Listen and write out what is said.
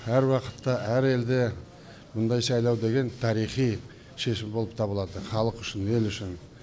әр уақытта әр елде мұндай сайлау деген тарихи шешім болып табылады халық үшін ел үшін